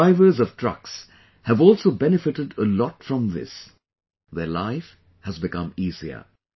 Drivers of trucks have also benefited a lot from this, their life has become easier